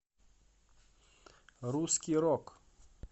русский рок